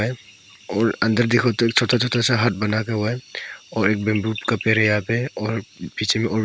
और अंदर देखो तो छोटा छोटा सा हाथ बना के हुआ है और एक बंबू का पेड़ है यहां पे और पीछे में और भी--